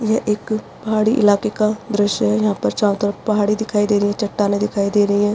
ये एक पहाड़ी इलाके का दृश्य है जहां पर चारों तरफ पहाड़ी दिखाई दे रही है चट्टानें दिखाई दे रही हैं।